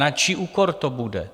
Na čí úkor to bude?